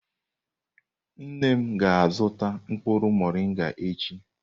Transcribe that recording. Nne m ga-azuta mkpuru morịngà echi.